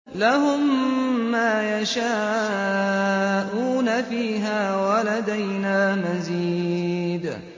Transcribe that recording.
لَهُم مَّا يَشَاءُونَ فِيهَا وَلَدَيْنَا مَزِيدٌ